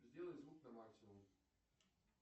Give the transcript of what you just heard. сделай звук на максимум